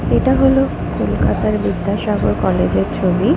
এটা হল কলকাতার বিদ্যাসাগর কলেজ -এর ছবি-ই।